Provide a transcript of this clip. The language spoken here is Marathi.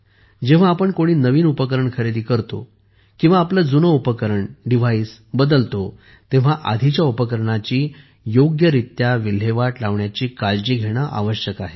जेव्हा आपण कोणी नवीन उपकरण खरेदी करतो किंवा आपले जुने उपकरण डिव्हाइस बदलतो तेव्हा आधीच्या उपकरणाची योग्यरित्या विल्हेवाट लावण्याची काळजी घेणे आवश्यक आहे